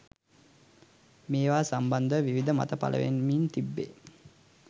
මේවා සම්බන්ධව විවිධ මත පළවෙමින් තිබේ